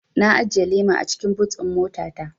Na ajiye lema a cikin but ɗin mota ta